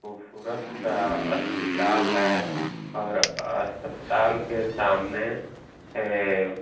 खूबसूरत सा अस्पताल है और अस्पताल के सामने ऐ --